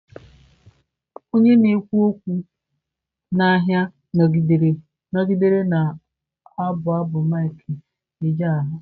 Onye na-ekwu okwu n'ahịa nọgidere na-abụ abụ mike ejegha.